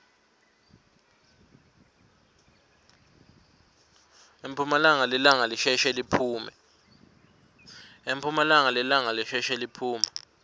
emphumalanga lilanga lisheshe liphume